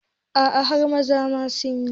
A'a har maza ma sunayi